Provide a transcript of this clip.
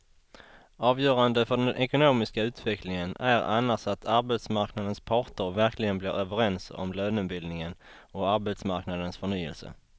Avgörande för den ekonomiska utvecklingen är annars att arbetsmarknadens parter verkligen blir överens om lönebildningen och arbetsmarknadens förnyelse.